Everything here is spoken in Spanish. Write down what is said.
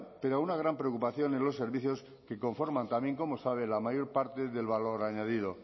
pero a una gran preocupación en los servicios que conforman también como sabe la mayor parte del valor añadido